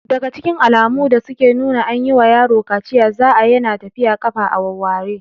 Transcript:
Daga cikin alamu da suke nuna an yi wa yaro kaciya za'a Yana tafiya ƙafa a wawware